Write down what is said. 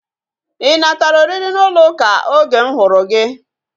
Ị natara oriri n'ụlọ ụka oge m hụrụ gị?